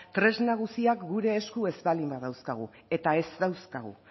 tresna guztiak gure esku ez baldin badauzkagu eta ez dauzkagu